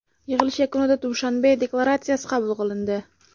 Yig‘ilish yakunida Dushanbe deklaratsiyasi qabul qilindi.